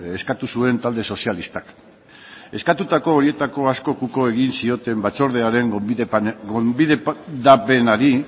eskatu zuen talde sozialistak eskatutako horietako askok uko egin zioten batzordearen gonbidapenari